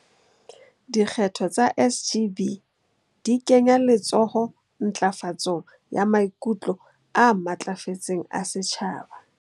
Dikgetho tsa SGB di kenya letsoho ntlafatsong ya maikutlo a matlafetseng a setjhaba.